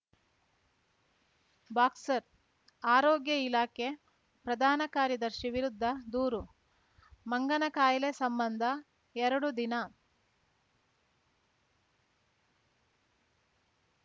boxer ಆರೋಗ್ಯ ಇಲಾಖೆ ಪ್ರಧಾನಕಾರ್ಯದರ್ಶಿ ವಿರುದ್ಧ ದೂರು ಮಂಗನ ಕಾಯಿಲೆ ಸಂಬಂಧ ಎರಡು ದಿನ